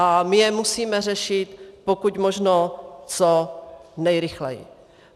A my je musíme řešit pokud možno co nejrychleji.